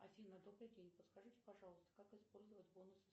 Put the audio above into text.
афина добрый день подскажите пожалуйста как использовать бонусы